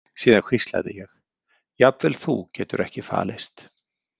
Síðan hvíslaði ég: Jafnvel þú getur ekki falist.